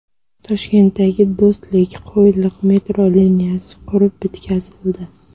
Toshkentdagi Do‘stlik–Qo‘yliq metro liniyasi qurib bitkazildi .